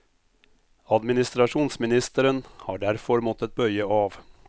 Administrasjonsministeren har derfor måttet bøye av.